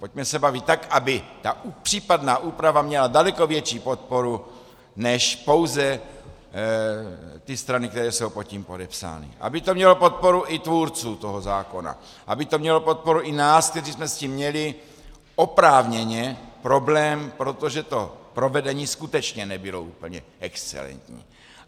Pojďme se bavit tak, aby ta případná úprava měla daleko větší podporu než pouze ty strany, které jsou pod tím podepsány, aby to mělo podporu i tvůrců toho zákona, aby to mělo podporu i nás, kteří jsme s tím měli oprávněně problém, protože to provedení skutečně nebylo úplně excelentní.